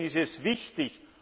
Deswegen ist es wichtig.